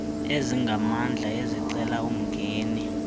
ezingamandla ezicela umngeni